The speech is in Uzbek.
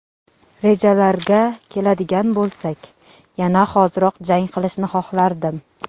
Rejalarga keladigan bo‘lsak, yana hoziroq jang qilishni xohlardim.